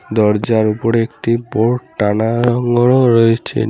দরজার ওপরে একটি বোর্ড টানানাগ্রো রয়েছে।